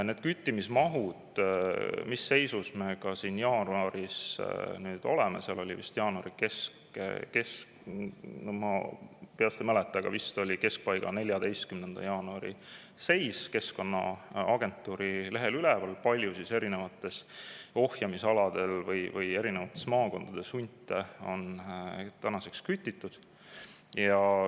Nende küttimismahtude kohta, mis seisus me siin jaanuaris oleme, jaanuari keskpaiga, ma peast ei mäleta, aga vist oli 14. jaanuari seis Keskkonnaagentuuri lehel üleval, kui palju erinevatel ohjamisaladel või erinevates maakondades hunte on kütitud.